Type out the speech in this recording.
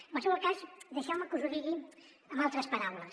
en qualsevol cas deixeu me que us ho digui amb altres paraules